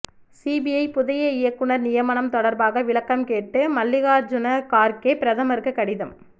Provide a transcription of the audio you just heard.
CBI புதிய இயக்குனர் நியமனம் தொடர்பாக விளக்கம் கேட்டு மல்லிகார்ஜூன கார்கே பிரதமருக்கு கடிதம்